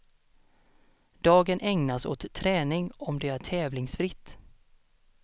Dagen ägnas åt träning om det är tävlingsfritt.